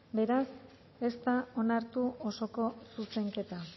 beraz ez da onartu osoko zuzenketa